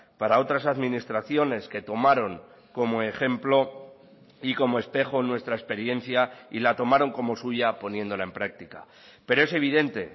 para otras administraciones que tomaron como ejemplo y como espejo nuestra experiencia y la tomaron como suya poniéndola en práctica pero es evidente